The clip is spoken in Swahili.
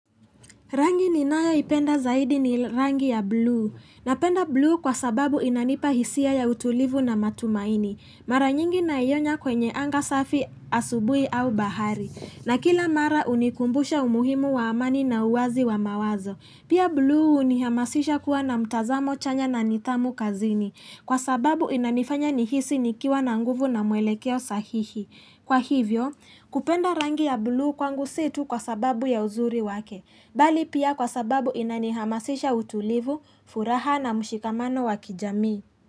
Rangi ninayo ipenda zaidi ni rangi ya blue. Napenda blue kwa sababu inanipa hisia ya utulivu na matumaini. Mara nyingi naiona kwenye anga safi asubuhi au bahari. Na kila mara hunikumbusha umuhimu wa amani na uwazi wa mawazo. Pia blue hunihamasisha kuwa na mtazamo chanya na nidhamu kazini. Kwa sababu inanifanya nihisi nikiwa na nguvu na mwelekeo sahihi. Kwa hivyo, kupenda rangi ya blue kwangu si tu kwa sababu ya uzuri wake. Bali pia kwa sababu inani hamasisha utulivu, furaha na mshikamano wa kijamii.